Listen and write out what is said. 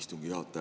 Hea peaminister!